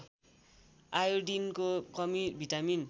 आयोडिनको कमी भिटामिन